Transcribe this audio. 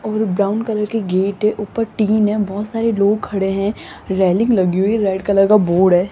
और brown colour के gate ऊपर टीन है बहुत सारे लोग खड़े हैं रेलिंग लगी हुई रेड कलर का बोर्ड है।